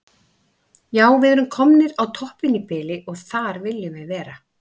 Já við erum komnir á toppinn í bili og þar viljum við vera.